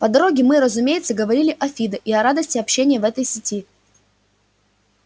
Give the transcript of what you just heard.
по дороге мы разумеется говорили о фидо и о радости общения в этой сети